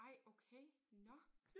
Ej okay nåh